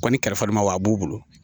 Kɔni kalifamaw a b'u bolo